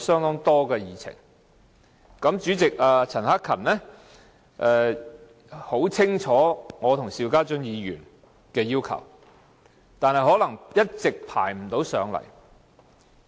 保安事務委員會主席陳克勤議員很清楚我和邵家臻議員的要求，但可能一直不能安排上來。